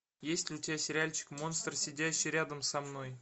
есть ли у тебя сериальчик монстр сидящий рядом со мной